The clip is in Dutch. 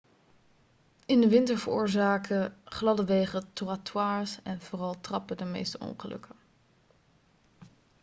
in de winter veroorzaken gladde wegen trottoirs en vooral trappen de meeste ongelukken